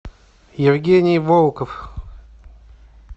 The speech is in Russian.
евгений волков